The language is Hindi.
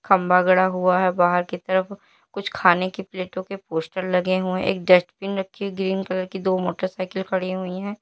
खंबा खड़ा हुआ है बाहर की तरफ। कुछ खाने की प्लेटों के पोस्टर लगे हुए। एक डस्टबिन रखे ग्रीन कलर की दो मोटरसाइकिल खड़ी हुई है।